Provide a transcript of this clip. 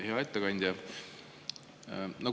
Hea ettekandja!